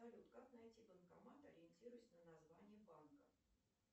салют как найти банкомат ориентируясь на название банка